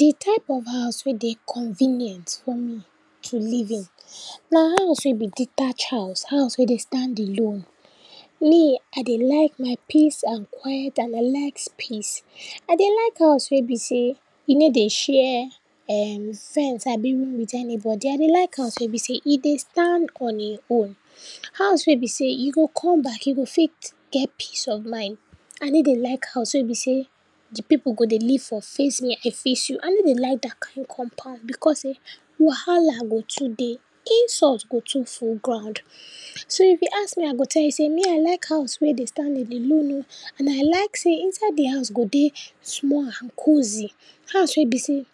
Di type of house wey dey convenient for me to live in, na house wey be detached house, house wey dey stand alone. Me I dey like my peace and quiet and I like space. I dey like house wey be sey e no dey share um fence abi room wit anybody, I dey like house wey be sey e dey stand on e own. House wey be sey you go kon back, you go fit get peace of mind. I ney dey like house wey be sey di pipu go dey live for face me I face you, I ney dey like dat kind compound because sey, wahala go too dey, insult go too full ground. So, if you ask me I go tell you sey me I like house wey dey stand-alone o and I like sey inside di house go dey small and cozy, house wey be sey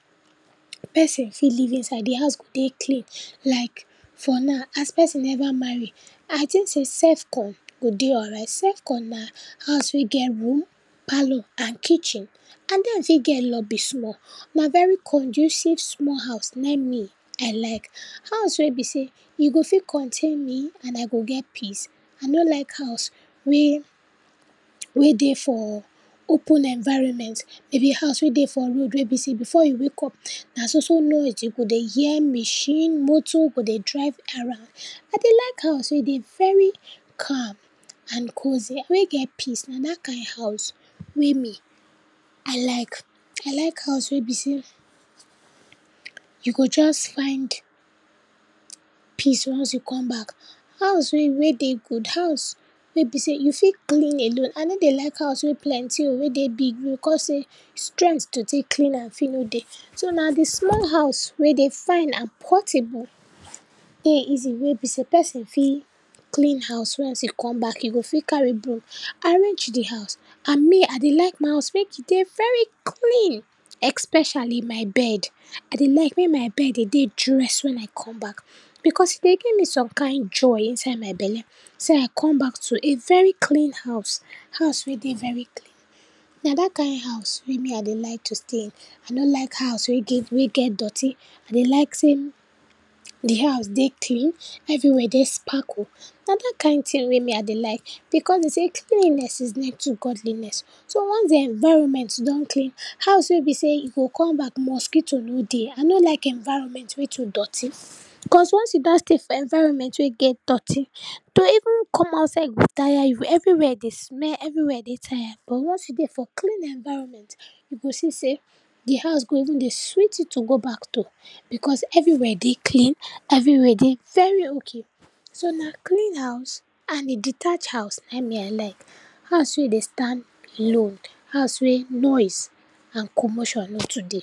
person fit live inside di house go dey clean like for now as person neva marry, I tink sey self-con go dey alright. Self-con na house wey get room, parlor, and kitchen and den fit get lobby small. Na very conducive small house na me I like. House wey be sey e go fit contain me and I go get peace, I no like house wey, wey dey for open environment, maybe house wey dey for road wey be sey before you wake up, na so so noise, you go dey hear machine, motor go dey drive around. I dey like house wey dey very calm and cozy, wey get peace, na dat kind house we me, I like. I like house wey be sey you go just find peace once you come back. House wey wey dey good, house wey be sey you fit clean alone. I no dey like house wey plenty o, wey dey big, no, because sey strength to tek clean am fit no dey. So, na di small house wey dey fine and portable, wey easy, wey be sey person fit clean house once e come back, e go fit carry broom arrange di house and me I dey like my house mek e dey very clean especially, my bed. I dey like mey my bed dey dey dress when I come back because e dey give me some kind joy inside my belle, sey I come back to a very clean house, house wey dey very clean, na dat kind house wey me I dey like to stay in. I no like house wey get wey get dirty, I dey like sey di house dey clean, everywhere dey sparkle, na dat kind tin wey me I dey like, because den sey cleaniness is next to godliness. So, once di environment don clean, house wey be sey you go come back mosquito no dey, I no like environment wey too dirty because once you don stay for environment wey dirty, to even come outside go tire you, everywhere dey smell, everywhere dey tire, but once you dey for clean environment, you go see sey di house go even dey sweet you to go back to because everywhere dey clean, everywhere dey very ok. So, na clean house and a detached house na me I like, house wey dey stand alone, house wey noise and commotion no too dey.